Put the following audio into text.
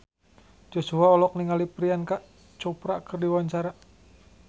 Joshua olohok ningali Priyanka Chopra keur diwawancara